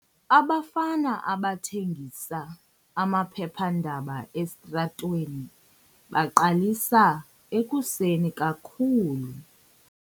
Abafana abathengisa amaphephandaba esitratweni baqalisa ekuseni kakhulu.